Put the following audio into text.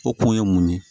O kun ye mun ye